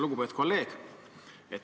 Lugupeetud kolleeg!